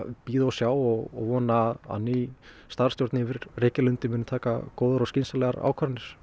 bíða og sjá og vona að ný starfsstjórn yfir Reykjalundi muni taka góðar og skynsamlegar ákvarðanir